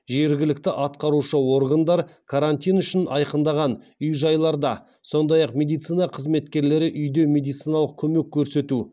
жергілікті атқарушы органдар карантин үшін айқындаған үй жайларда сондай ақ медицина қызметкерлері үйде медициналық көмек көрсету